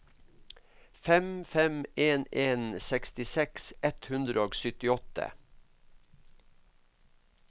fem fem en en sekstiseks ett hundre og syttiåtte